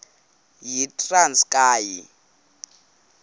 yitranskayi